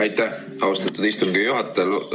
Aitäh, austatud istungi juhataja!